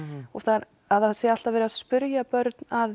og að það sé alltaf verið að spyrja börn að